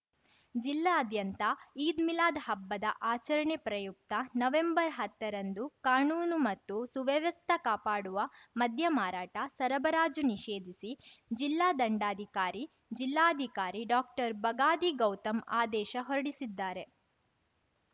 ಜಿಲ್ಲಾಆದ್ಯಂತ ಈದ್‌ ಮಿಲಾದ್‌ ಹಬ್ಬದ ಆಚರಣೆ ಪ್ರಯುಕ್ತ ನವೆಂಬರ್ಹತ್ತರಂದು ಕಾನೂನು ಮತ್ತು ಸುವ್ಯವಸ್ಥ ಕಾಪಾಡುವ ಮದ್ಯ ಮಾರಾಟ ಸರಬರಾಜು ನಿಷೇಧಿಸಿ ಜಿಲ್ಲಾ ದಂಡಾಧಿಕಾರಿ ಜಿಲ್ಲಾಧಿಕಾರಿ ಡಾಕ್ಟರ್ಬಗಾದಿ ಗೌತಮ್‌ ಆದೇಶ ಹೊರಡಿಸಿದ್ದಾರೆ